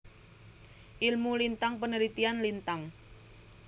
Ilmu Lintang penelitian Lintang